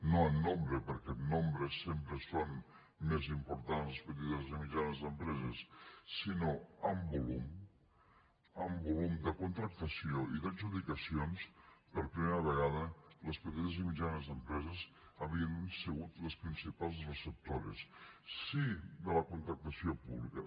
no en nombre perquè en nombre sempre són més importants les petites i mitjanes empreses sinó en volum en volum de contractació i d’adjudicacions per primera vegada les petites i mitjanes empreses havien sigut les principals receptores de la contractació pública